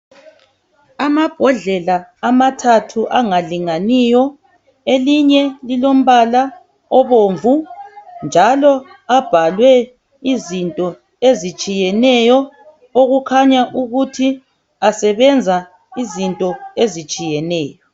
Amabhodlela amathathu angalinganiyo elinye lilombala obomvu .Njalo abhalwe izinto ezitshiyeneyo okukhanya ukuthi asebenza izinto ezitshiyeneyo.